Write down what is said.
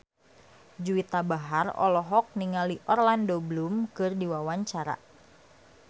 Juwita Bahar olohok ningali Orlando Bloom keur diwawancara